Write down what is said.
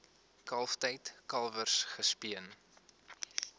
kalftyd kalwers gespeen